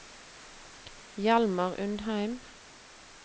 Hjalmar Undheim